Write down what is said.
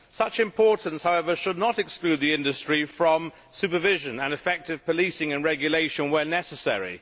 Such importance, however, should not exclude the industry from supervision and effective policing and regulation where necessary.